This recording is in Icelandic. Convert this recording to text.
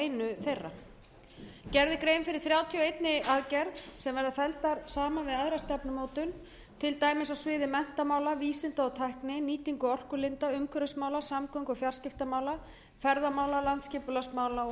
einu þeirra gerð er grein fyrir þrjátíu og ein aðgerð sem verða felldar saman við aðra stefnumótun til dæmis á sviði menntamála vísinda og tækni nýtingu orkulinda umhverfismála samgöngu og fjarskiptamála ferðamála landsskipulagsmála og